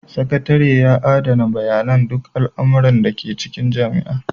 Sakatare yana adana bayanan duk al'amuran da ke cikin jami'a.